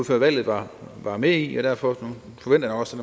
før valget var var med i og derfor forventer jeg også